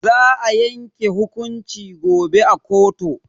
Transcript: Za a yanke hukunci gobe a koto.